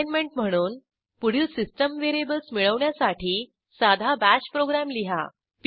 assignment म्हणून पुढील system variables मिळवण्यासाठी साधा बाश प्रोग्रॅम लिहा